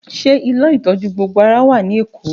Ṣé ilé ìtọ́jú gbogbo ara wà ní Èkó?